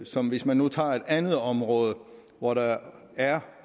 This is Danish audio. som hvis man nu tager et andet område hvor der er